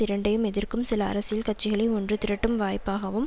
இரண்டையும் எதிர்க்கும் சில அரசியல் கட்சிகளை ஒன்று திரட்டும் வாய்ப்பாகவும்